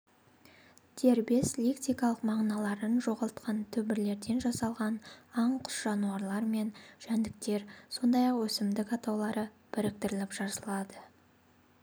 дербес лексикалық мағыналарын жоғалтқан түбірлерден жасалған аңқұс жануарлар мен жәндіктер сондай-ақ өсімдік атаулары біріктіріліп жазылады